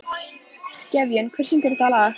Gefjun, hver syngur þetta lag?